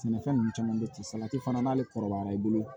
Sɛnɛfɛn ninnu caman bɛ ten salati fana n'ale kɔrɔbayara i bolo